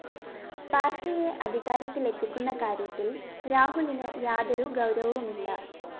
പാര്‍ട്ടിയെ അധികാരത്തില്‍ എത്തിക്കുന്ന കാര്യത്തില്‍ രാഹുലിന് യാതൊരു ഗൗരവവുമില്ല